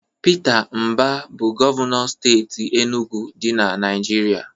Pita Mbah bu Gọvanọ steeti Enugwu di na Naijiria.